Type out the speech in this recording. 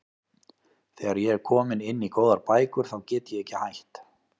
Þegar ég er komin inn í góðar bækur þá get ég ekki hætt.